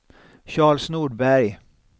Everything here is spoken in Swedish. Charles Nordberg